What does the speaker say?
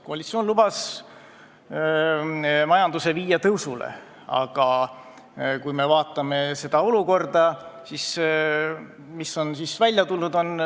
Koalitsioon lubas majanduse viia tõusule, aga kui me vaatame praegust olukorda, siis mis on välja tulnud?